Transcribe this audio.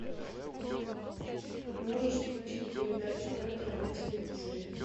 можешь включить передачу ретро на телевизоре